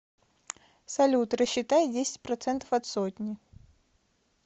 салют рассчитай десять процентов от сотни